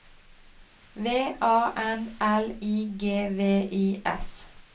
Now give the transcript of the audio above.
V A N L I G V I S